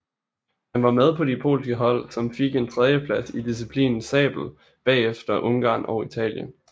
Han var med på de polske hold som fik en tredjeplads i disciplinen sabel bagefter Ungarn og Italien